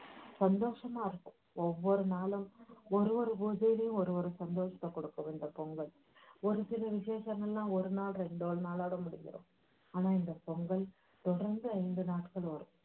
சந்தோஷமாயிருக்கும் ஒவ்வொரு நாளும் ஒரு ஒரு பூஜையிலும் ஒவ்வொரு சந்தோஷத்தைக் கொடுக்கும் இந்த பொங்கல் ஒரு சில விஷேசமெல்லாம் ஒரு நாள் ரெண்டு நாளோட முடிஞ்சிடும் ஆனால் இந்த பொங்கல் தொடர்ந்து ஐந்து நாட்கள் வரும்